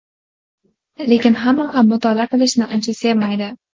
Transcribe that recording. lekin hamma ham mutolaa qilishni uncha sevmaydi.